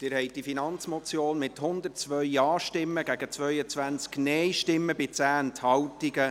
Sie haben diese Finanzmotion angenommen, mit 102 Ja- gegen 22 Nein-Stimmen bei 10 Enthaltungen.